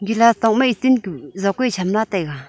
elaa tok ma steel ku jokwai cham la taiga.